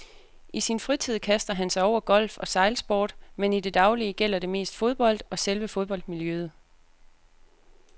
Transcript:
I sin fritid kaster han sig over golf og sejlsport, men i det daglige gælder det mest fodbold og selve fodboldmiljøet.